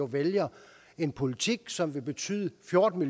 vælger en politik som vil betyde fjorten